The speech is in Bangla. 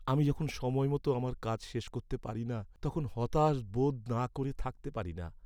আমি যখন সময়মতো আমার কাজ শেষ করতে পারি না, তখন হতাশ বোধ না করে থাকতে পারি না।